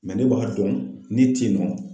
ne b'a dɔn ne teyinɔ.